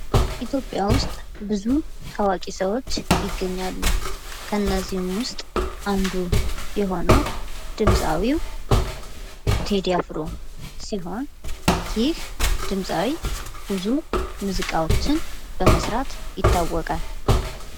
ኢትዮጵያ ውስጥ ብዙ ታዋቂ ሰዎች ይገኛል ። ከእነዚህም ውስጥ አንዱ የሆነው ድምፃዊው ቴዲ አፍሮ ሲሆን ይህ ድምፃዊ ብዙ ሙዚቃዎችን በመስራት ይታወቃል ።